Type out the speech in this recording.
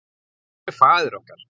Hvar er faðir okkar?